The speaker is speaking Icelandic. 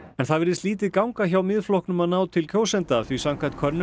en það virðist lítið ganga hjá Miðflokknum að ná til kjósenda því samkvæmt könnun